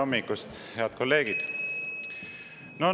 Tere hommikust, head kolleegid!